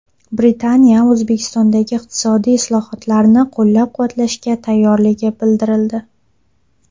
Britaniya O‘zbekistondagi iqtisodiy islohotlarni qo‘llab-quvvatlashga tayyorligi bildirildi.